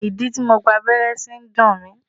Ìdí tí mo gba abẹ́rẹ́ sí ń dùn mí.